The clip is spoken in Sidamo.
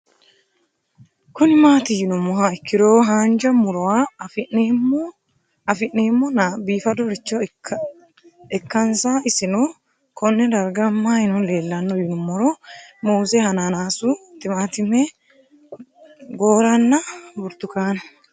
Kuni mati yinumoha ikiro hanja murowa afine'mona bifadoricho ikana isino Kone darga mayi leelanno yinumaro muuze hanannisu timantime gooranna buurtukaane